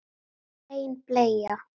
Hrein bleia